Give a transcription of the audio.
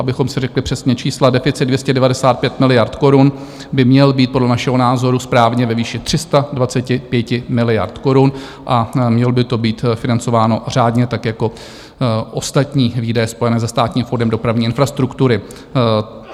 Abychom si řekli přesně čísla, deficit 295 miliard korun by měl být podle našeho názoru správně ve výši 325 miliard korun a mělo by to být financováno řádně, tak jako ostatní výdaje spojené se Státním fondem dopravní infrastruktury.